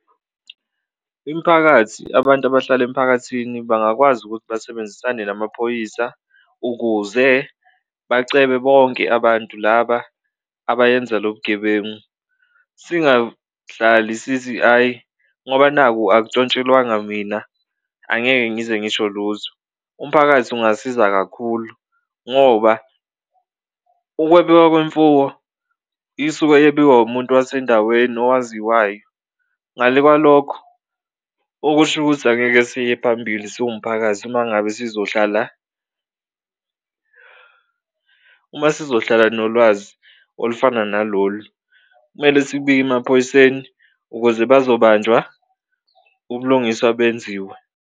Imphakathi abantu abahlala emphakathini bangakwazi ukuthi basebenzisane namaphoyisa ukuze bacebe bonke abantu laba abayenza lobu bugebengu singahlali sithi, ayi ngoba naku akutshontshelwanga mina angeke ngize ngisho lutho. Umphakathi ungasiza kakhulu ngoba ukwebiwa kwemfuwo isuke yebiwa umuntu wasendaweni owaziwayo, ngale kwalokho okusho ukuthi angeke siye phambili siwumphakathi uma ngabe sizohlala, uma sizohlala nolwazi olufana nalolu, kumele sibike emaphoyiseni ukuze bazobanjwa, ubulungiswa benziwe.